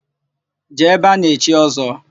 Jee ebe a na-echi Ọ́zọ́!